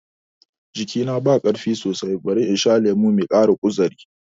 Jikina ba ƙarfi sosai, bari in sha lemo mai ƙara kuzari